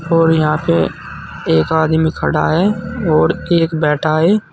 और यहां पे एक आदमी खड़ा है और एक बैठा है।